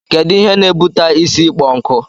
Kedu Ihe n'ebuta isi ịkpọ nku?